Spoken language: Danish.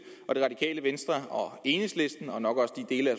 og det radikale venstre og enhedslisten og nok også dele af